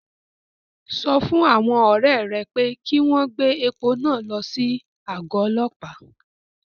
Sọ fún àwọn ọ̀rẹ́ ẹ pé kí wọ́n gbé epo náà lọ sí àgọ́ ọlọ́pàá